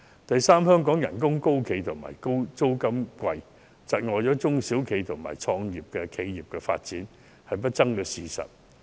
第三，香港的工資高企、租金昂貴，窒礙了中小企及初創企業的發展是不爭的事實。